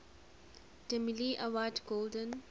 demille award golden